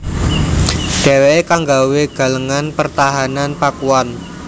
Dhèwèké kang nggawé galengan pertahanan Pakuan